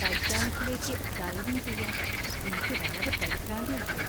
ടൈറ്റാനിക്കിലേക്ക് diving ചെയ്യാൻ എനിക്കു വളരെ പരിഭ്രാന്തി ഉണ്ടായി .